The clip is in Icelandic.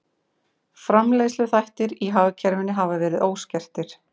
Framleiðsluþættir í hagkerfinu hafi verið óskertir